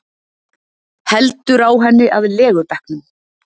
Heldur á henni að legubekknum.